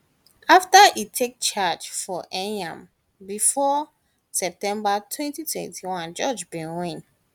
afta etake charge of enyimbafor september 2021 george bin win